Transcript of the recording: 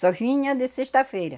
Só vinha de sexta-feira.